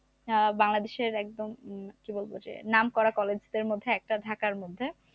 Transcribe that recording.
আহ বাংলাদেশের একদম হম কি বলবো যে নামকরা college দের মধ্যে একটা ঢাকার মধ্যে